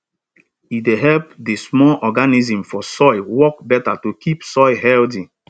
e dey help di small organisms for soil work better to keep soil healthy